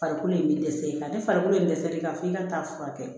Farikolo ye dɛsɛ nka ni farikolo in dɛsɛlen kan f'i ka taa furakɛ kɛ